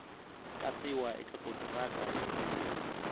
katsiwa eka kontiraka ya ntirho